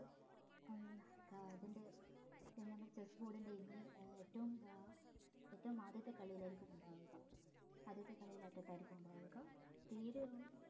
അങ് അതിൻ്റെ എന്താ നമ്മ chessboard ന്റെ ഇനി ഏറ്റവും അഹ് ഏറ്റവും ആദ്യത്തെ കളിലായിരിക്കും ഉണ്ടാവുക ആദ്യത്തെ കളീല് അറ്റത്തായിരിക്കും ഉണ്ടാവുക തീരെ ഉം